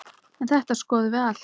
En þetta skoðum við allt.